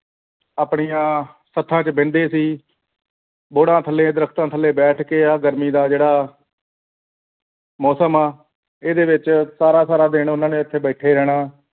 ਆਪਣੀਆਂ ਸਥਾ ਚ ਬਹਿੰਦੇ ਸੀ ਬੋਹੜਾਂ ਥੱਲੇ ਦਰਖਤਾਂ ਥੱਲੇ ਬੈਠ ਕੇ ਆਹ ਗਰਮੀ ਦਾ ਆਹ ਜਿਹੜਾ ਮੌਸਮ ਇਹ ਵਿਚ ਸਾਰਾ ਸਾਰਾ ਦਿਨ ਉਹਨਾਂ ਨੇ ਇਥੇ ਬੈਠੇ ਰਹਿਣਾ